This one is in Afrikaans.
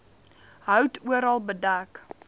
hout oral bedek